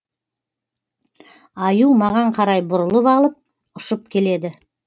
аю маған қарай бұрылып алып ұшып келеді